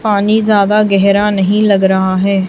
पानी ज्यादा गहरा नहीं लग रहा है।